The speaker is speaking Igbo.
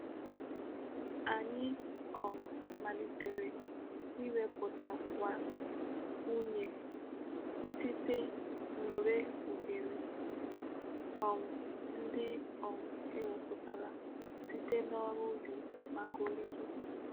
Anyi um malitere imeputawa unyi site nureghure um ndi um e weputara site n'oru ubi maka orire.